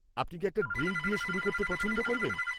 আপনি কি একটা ড্রিঙ্ক দিয়ে শুরু করতে পছন্দ করবেন?